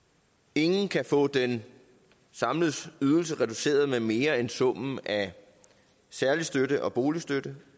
ingen kan få den samlede ydelse reduceret med mere end summen af særlig støtte og boligstøtte